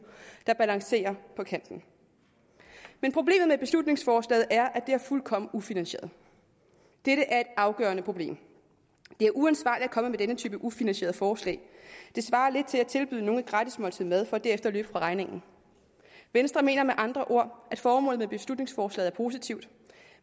der balancerer på kanten men problemet med beslutningsforslaget er at det er fuldkommen ufinansieret dette er et afgørende problem det er uansvarligt at komme med denne type ufinansierede forslag det svarer lidt til at tilbyde nogen et gratis måltid mad for derefter at løbe fra regningen venstre mener med andre ord at formålet med beslutningsforslaget er positivt